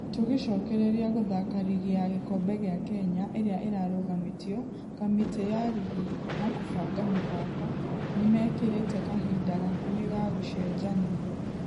Tũgecokereria gũthaka rigi ya gĩkobe gĩa kenya ĩrĩa ĩrarũgamĩtio , kamĩtĩ ya rigi na kũbanga mĩthako nĩmekeretĩ kahinda gakuhĩ ga gũcenjania.